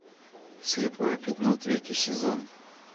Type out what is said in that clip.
слепое пятно третий сезон